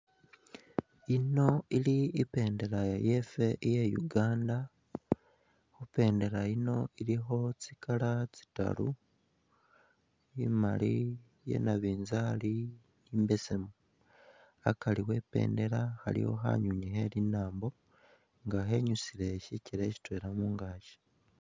Yino ili i'bendela yefwe iya Uganda, i'bendela yino ilikho tsi colour tsitaru, imaali, iya nabinzaali ni imbesemu. Akari we i'bendela khaliwo khanywinywi khe linaambo nga khenyusile sikele sitwela mungaaki.